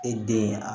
E den a